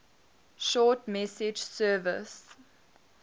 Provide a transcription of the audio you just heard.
short message service